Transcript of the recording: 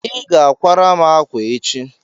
ị ga akwara m akwa echi!